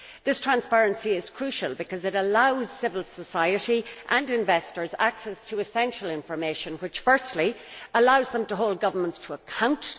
This transparency is crucial because it allows civil society and investors access to essential information which, firstly, allows them to hold governments to account